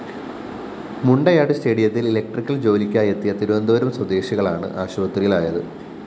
മുണ്ടയാട് സ്‌റ്റേഡിയത്തില്‍ ഇലക്ട്രിക്കൽ ജോലിക്കായെത്തിയ തിരുവനന്തപുരം സ്വദേശികളാണ് ആശുപത്രിയിലായത്